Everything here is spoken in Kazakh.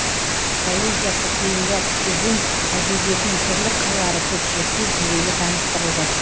поэзиясы кейінгі кезең әдебиетінің түрлі қырлары көпшілікке жүйелі таныстырылды